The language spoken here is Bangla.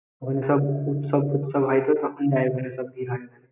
ওইখানে সব উৎসব তুৎসব তো হয় তখন যায় ওখানে সব দিঘার নামে